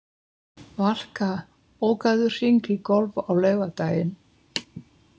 Valka, bókaðu hring í golf á laugardaginn.